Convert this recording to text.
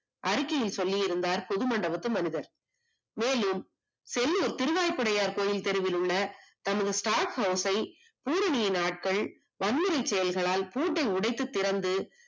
அறிக்கையில் சொல்லி இருந்தார் புது மண்டபத்து மனிதர், மேலும் செல்லூர் திருவலைப் படையார் கோவில் தெருவில் உள்ள தன்னுடைய stock house ஐ பூரணியின் ஆட்கள் வன்முறை செயல்களால் பூட்டை உடைத்து திறந்து